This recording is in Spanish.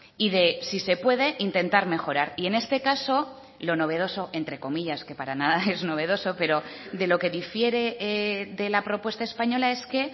y de si se puede intentar mejorar y en este caso lo novedoso entre comillas que para nada es novedoso pero de lo que difiere de la propuesta española es que